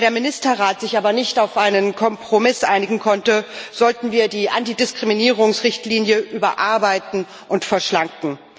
Da der Ministerrat sich aber nicht auf einen Kompromiss einigen konnte, sollten wir die Antidiskriminierungsrichtlinie überarbeiten und verschlanken.